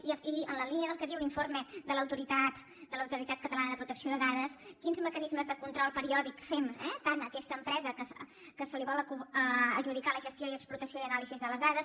i en la línia del que diu l’informe de l’autoritat catalana de protecció de dades quins mecanismes de control periòdic fem tant a aquesta empresa que se li vol adjudicar la gestió i explotació i anàlisi de les dades